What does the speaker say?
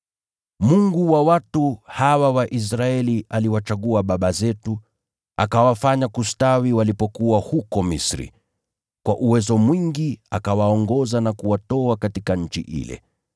Mungu wa watu hawa wa Israeli aliwachagua baba zetu, akawafanya kustawi walipokuwa huko Misri, kwa uwezo mwingi akawaongoza na kuwatoa katika nchi ile.